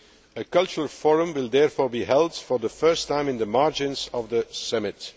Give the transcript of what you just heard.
A Cultural Forum will therefore be held for the first time in the margins of the summit.